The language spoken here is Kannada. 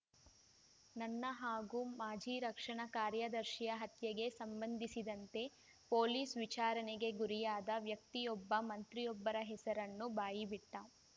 ನನ್ನ ಹಾಗೂ ಮಾಜಿ ರಕ್ಷಣಾ ಕಾರ್ಯದರ್ಶಿಯ ಹತ್ಯೆಗೆ ಸಂಬಂಧಿಸಿದಂತೆ ಪೊಲೀಸ್‌ ವಿಚಾರಣೆಗೆ ಗುರಿಯಾದ ವ್ಯಕ್ತಿಯೊಬ್ಬ ಮಂತ್ರಿಯೊಬ್ಬರ ಹೆಸರನ್ನು ಬಾಯಿಬಿಟ್ಟ